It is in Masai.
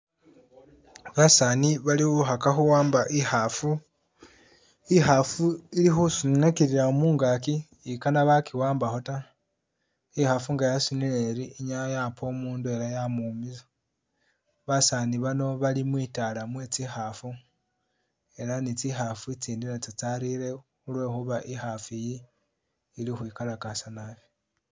Basaani bali khukhaka khuwamba ikhafu, ikhafu ili khusunakilila mungaki ikaana bakiwambakho taa, ikhafu nga yasunile iri inyala yapa umundu ela yamuwumiza, basaani bano bali mwitaala mwe tsikhafu, ela ni tsikhafu itsindi natso tsarire khulwekhuba ikhafu iyi ili ukhwikalakasa naabi